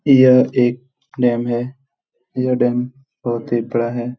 यह एक डैम है। यह डैम बहुत ही बड़ा है।